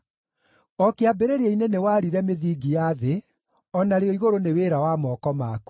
O kĩambĩrĩria-inĩ, nĩwaarire mĩthingi ya thĩ, o narĩo igũrũ nĩ wĩra wa moko maku.